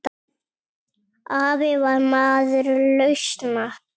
Afi var maður lausna.